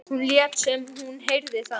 Hún lét sem hún heyrði það ekki.